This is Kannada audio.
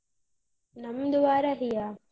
ನಮ್ದು ವಾರಾಹಿಯ.